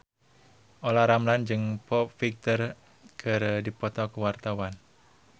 Olla Ramlan jeung Foo Fighter keur dipoto ku wartawan